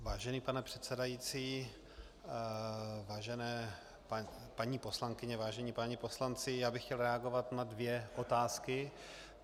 Vážený pane předsedající, vážené paní poslankyně, vážení páni poslanci, já bych chtěl reagovat na dvě otázky.